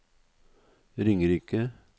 Ringerike